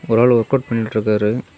ஒரு ஆளு work out பண்ணிட்ருக்காரு.